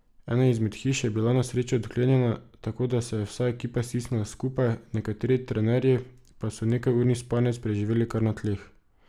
Ena izmed hiš je bila na srečo odklenjena, tako da se je vsa ekipa stisnila skupaj, nekateri trenerji pa so nekajurni spanec preživeli kar na tleh.